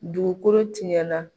Dugukolo tiɲɛna.